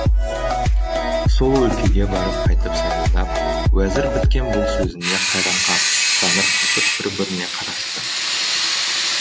сол өлкеге барып қайтып сайрандап уәзір біткен бұл сөзіне қайран қап таңырқасып бір біріне қарасты